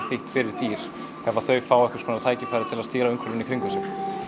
þýtt fyrir dýr ef þau fá tækifæri til að stýra umhverfinu í kringum sig